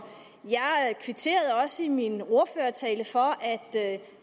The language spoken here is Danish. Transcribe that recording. jeg kvitterede også i min ordførertale for at